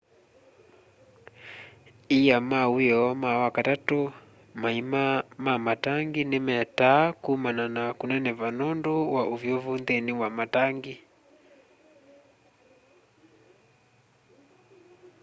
ia ma wioo ma wakatatũ maima ma matangi nĩ metaa kũmana na kũneneva nũndũ wa ũvyũvũ nthĩni wa matangi